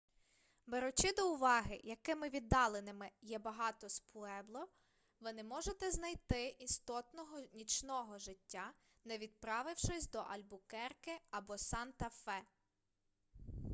беручи до уваги якими віддаленими є багато з пуебло ви не зможете знайти істотного нічного життя не відправившись до альбукерке або санта-фе